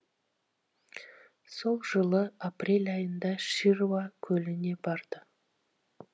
сол жылы апрель айында шируа көліне барды